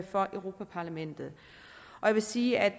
for europa parlamentet jeg vil sige at